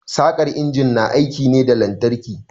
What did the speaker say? Saƙar injin na aiki ne da lantarki.